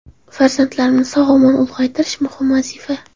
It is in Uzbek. Farzandlarimni sog‘-omon ulg‘aytirish muhim vazifa.